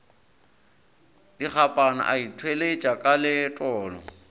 dikgapana a ithweša ka letolo